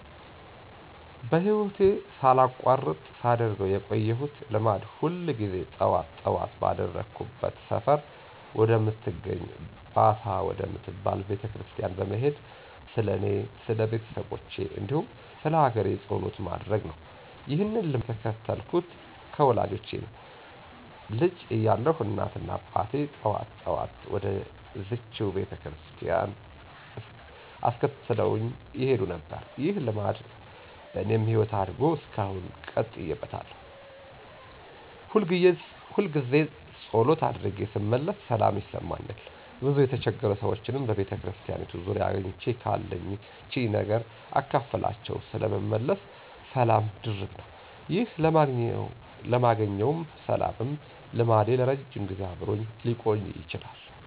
በህይወቴ ሳላቋርጥ ሳደርገው የቆየሁት ልማድ ሁል ጊዜ ጠዋት ጠዋት ባደኩበት ሰፈር ወደምትገኝ ባታ ወደምትባል ቤተክርስቲያን በመሄድ ስለኔ፣ ስለቤተሰቦቼ፣ እንዲሁም ስለሀገሬ ጸሎት ማድረስ ነው። ይህንን ልማድ የተከተልኩት ከወላጆቼ ነው። ልጅ እያለሁ እናትና አባቴ ጠዋት ጠዋት ወደዝችው ቤተክርስቲያን እያስከተሉኝ ይሄዱ ነበር። ይህ ልማድ በኔም ህይወት አድጎ እስካሁን ቀጥዬበታለሁ። ሁልጊዜ ፀሎት አድርጌ ስመለስ ሰላም ይሰማኛል፤ ብዙ የተቸገሩ ሰዎችንም በቤተክርስቲያኒቱ ዙሪያ አግኝቼ ካለችኝ ነገር አካፍያቸው ስለምመለስ ሰላሜ ድርብ ነው። ይህ የማገኘውም ሰላምም ልማዴ ለረጅም ጊዜ አብሮኝ ሊቆይ ችሏል።